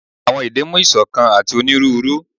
awọn ede mu isokan ati oniruuru